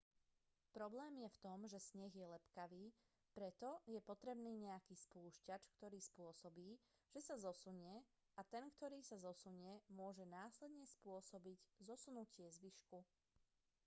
problém je v tom že sneh je lepkavý preto je potrebný nejaký spúšťač ktorý spôsobí že sa zosunie a ten ktorý sa zosunie môže následne spôsobiť zosunutie zvyšku